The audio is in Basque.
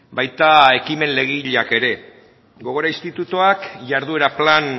baita ekimen legegileak ere gogora institutuak jarduera plan